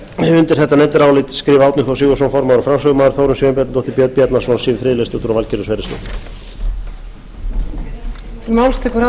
undir þetta nefndarálit skrifa árni þór sigurðsson formaður og framsögumaður þórunn sveinbjarnardóttir björn bjarnason siv friðleifsdóttir og valgerður sverrisdóttir